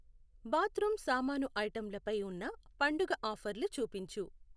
Bathroom సామాను ఐటెంలపై ఉన్న పండుగ ఆఫర్లు చూపించు.